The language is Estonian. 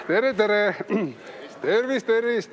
Tere-tere!